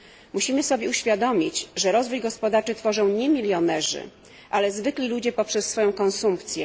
Musimy sobie uświadomić, że rozwój gospodarczy tworzą nie milionerzy, ale zwykli ludzie poprzez swoją konsumpcję.